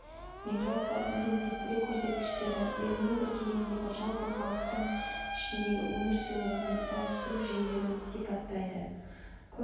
миграция интенсивтілік көрсеткіштері белгілі бір кезеңдегі жалпы халықтың ішіндегі өмір сүру орнын ауыстыру жиілігін сипаттайды көп